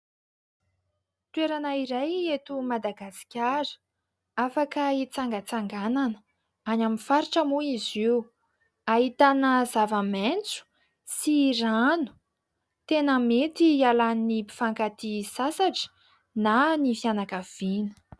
Toerana iray eto Madagasikara, afaka hitsangatsanganana. Any amin'ny faritra moa izy io. Ahitana zavamaitso sy rano. Tena mety hialan'ny mpifankatia sasatra na ny fianankaviana.